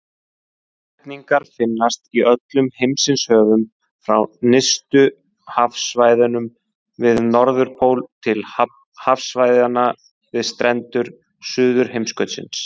Háhyrningar finnast í öllum heimshöfum, frá nyrstu hafsvæðunum við Norðurpól til hafsvæðanna við strendur Suðurheimskautsins.